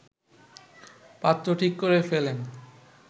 পাত্র ঠিক করে ফেলেন